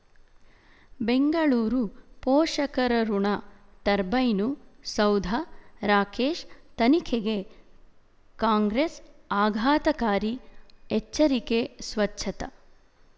ಬೆಂಗಳೂರು ಪೋಷಕರಋಣ ಟರ್ಬೈನು ಸೌಧ ರಾಕೇಶ್ ತನಿಖೆಗೆ ಕಾಂಗ್ರೆಸ್ ಆಘಾತಕಾರಿ ಎಚ್ಚರಿಕೆ ಸ್ವಚ್ಛತ